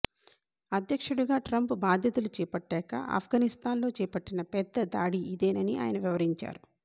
అధ్యక్షుడిగా ట్రంప్ బాధ్యతలు చేపట్టాక అఫ్ఘానిస్తాన్లో చేపట్టిన పెద్ద దాడి ఇదేనని ఆయన వివరించారు